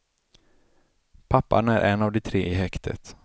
Pappan är en av de tre i häktet.